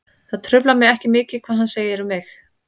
Það truflar mig ekki mikið hvað hann segir um mig.